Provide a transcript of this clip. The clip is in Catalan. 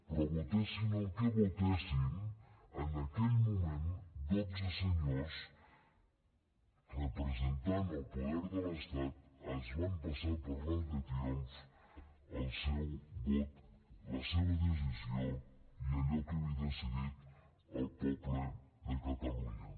però votessin el que votessin en aquell moment dotze senyors representant el poder de l’estat es van passar per l’arc de triomf el seu vot la seva decisió i allò que havia decidit el poble de catalunya